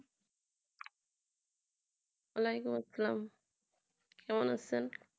ওয়া আলাইকুম আসসালাম কেমন আছেন?